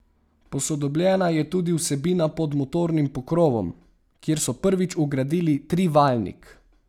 Posodobljena je tudi vsebina pod motornim pokrovom, kjer so prvič vgradili trivaljnik.